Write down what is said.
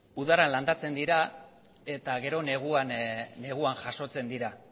udan landatzen dira eta gero neguan jasotzen dira